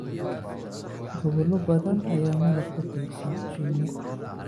Gobollo badan ayaa malab ku tiirsan shinni.